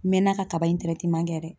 N mɛɛnna kaba in kɛ dɛ.